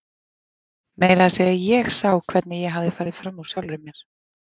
Meira að segja ég sá hvernig ég hafði farið fram úr sjálfri mér.